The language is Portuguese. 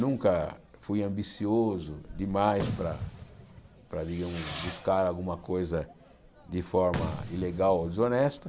Nunca fui ambicioso demais para para digamos buscar alguma coisa de forma ilegal ou desonesta.